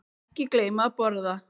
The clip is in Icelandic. Ekki gleyma að borða.